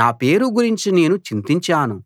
నా పేరు గురించి నేను చింతించాను